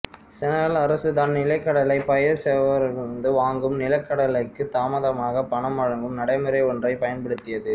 Senegal அரசு தான் நிலக்கடலை பயிர் செய்வோரிடமிருந்து வாங்கும் நிலக்கடலைக்குத் தாமதமாகப் பணம் வழங்கும் நடைமுறை ஒன்றைப் பயன்படுத்தியது